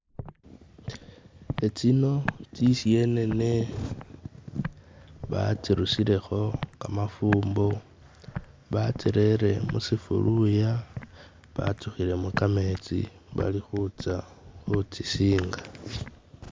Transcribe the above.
Etsino tsisyenene batsirusileho kamafumbo, batsilere mu sifuluya, batsuhilemu kametsi, Bali hutsya hutsisinga.